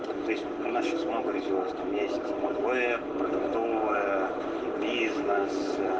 месяц в избранное